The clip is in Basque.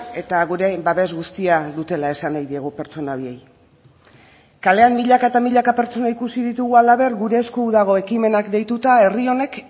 eta gure babes guztia dutela esan nahi diegu pertsona horiei kalean milaka eta milaka pertsona ikusi ditugu halaber gure esku dago ekimenak deituta herri honek